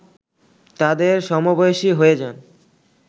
তাদের সমবয়সী হয়ে যান